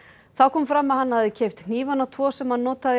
þá kom fram að hann hefði keypt hnífana tvo sem hann notaði í